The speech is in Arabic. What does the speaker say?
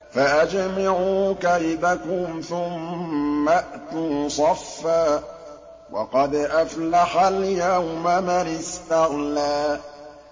فَأَجْمِعُوا كَيْدَكُمْ ثُمَّ ائْتُوا صَفًّا ۚ وَقَدْ أَفْلَحَ الْيَوْمَ مَنِ اسْتَعْلَىٰ